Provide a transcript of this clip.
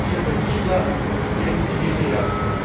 Başı qızışsa, getdi gecə yarısına.